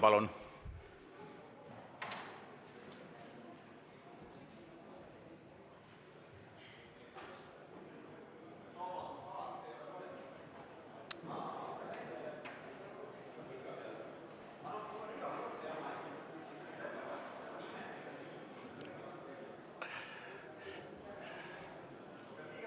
Palun!